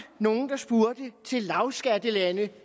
nogle der spurgte til lavskattelande